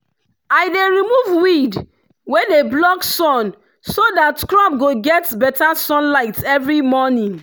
i dey remove weed wey dey block sun so that crop go get better sunlight every morning.